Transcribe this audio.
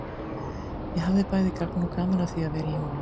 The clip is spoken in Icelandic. Ég hafði bæði gagn og gaman af því að vera í honum.